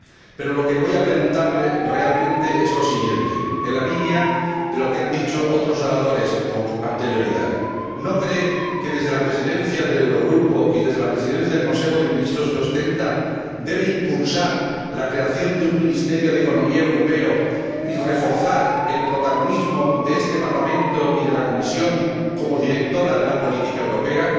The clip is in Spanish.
Pero lo que voy a preguntarle realmente es lo siguiente, en la línea de lo que han dicho otros oradores con anterioridad ¿no cree que, desde la Presidencia del Eurogrupo y desde la Presidencia del Consejo de Ministros que ostenta, debe impulsar la creación de un ministerio de economía europeo y reforzar el protagonismo de este Parlamento y de la Comisión como directora de la política europea?